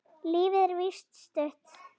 Lífið er víst stutt.